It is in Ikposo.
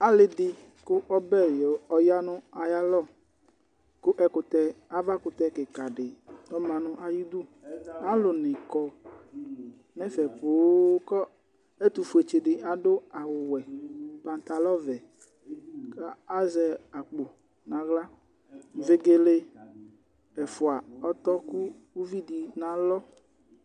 Alɩ dɩ kʋ ɔbɛ yɔ ya nʋ ayalɔ kʋ ɛkʋtɛ, avakʋtɛ kɩka dɩ ɔma nʋ ayidu Alʋnɩ kɔ nʋ ɛfɛ poo kʋ ɔ ɛtʋfuetsɩ dɩ adʋ awʋwɛ, pantalɔvɛ kʋ azɛ akpo nʋ aɣla Vegele ɛfʋa ɔtɔ kʋ uvi dɩ nʋ alɔ